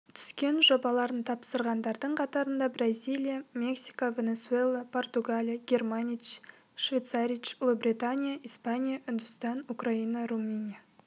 түскен жобаларын тапсырғандардың қатарында бразилия мексика венесуэла португалия германич швейцарич ұлыбритания испания үндістан украина румыния